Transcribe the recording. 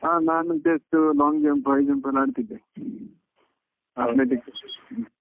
ಹಾ ನಾನು just long jump, high jump ಎಲ್ಲಾ ಆಡ್ತಿದ್ದೆ athletic ಅಲ್ಲಿ .